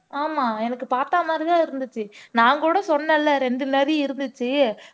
ஆமா எனக்கு பாத்தா மாதிரி தான் இருந்துச்சு நான் கூட சொன்னேன்ல ரெண்டு நாரி இருந்துச்சு